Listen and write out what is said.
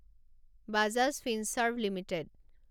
Bajaj Finserv limited